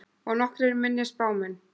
Og nokkrir minni spámenn.